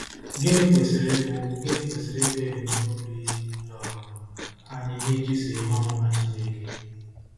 Gịnị kwesịrị ịbụ Gịnị kwesịrị ịbụ ebumnobi um anyị n'ịchụso ihe ọmụma Chineke?